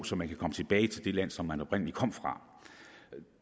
så man kan komme tilbage til det land som man oprindelig kom fra